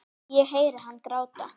Ég heyri hann gráta.